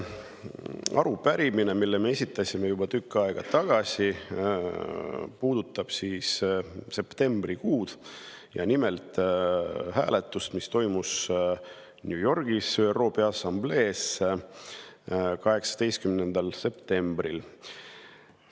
Arupärimine, mille me esitasime juba tükk aega tagasi, puudutab septembrikuud, nimelt hääletust, mis toimus New Yorgis ÜRO Peaassambleel 18. septembril.